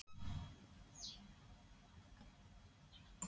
Þóra Kristín Ásgeirsdóttir: Hvenær stendur til að rífa húsið?